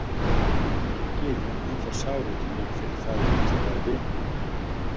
Ekki er gyðjan ennþá sár út í mig fyrir það lítilræði?